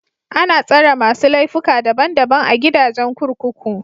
Ana tsare masu laifuka daban daban a gidajen kurkuku.